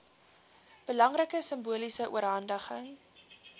belangrike simboliese oorhandiging